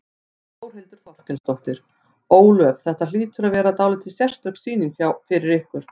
Þórhildur Þorkelsdóttir: Ólöf, þetta hlýtur að vera dálítið sérstök sýning fyrir ykkur?